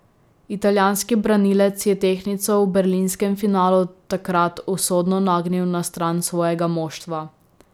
Italijanski branilec je tehtnico v berlinskem finalu takrat usodno nagnil na stran svojega moštva.